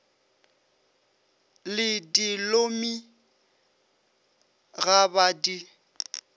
le dilomi ga ba di